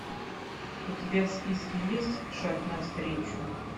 у тебя в списке есть шаг навстречу